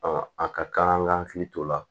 a ka kan an k'an hakili t'o la